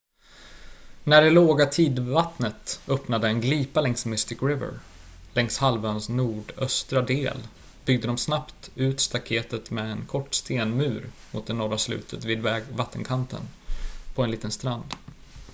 när det låga tidvattnet öppnade en glipa längs mystic river längs halvöns nordöstra del byggde de snabbt ut staktetet med en kort stenmur mot det norra slutet vid vattenkanten på en liten strand